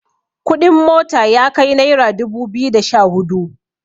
kuɗin mota ya kai naira dubu biyu da Sha hudu